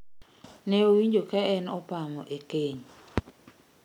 Ne owinjo ka en opamo e keny